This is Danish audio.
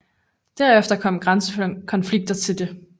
Derefter kom grænsekonflikter til det 1